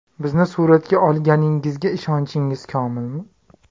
Bizni suratga olganingizga ishonchingiz komilmi?